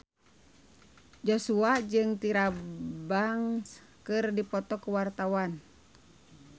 Joshua jeung Tyra Banks keur dipoto ku wartawan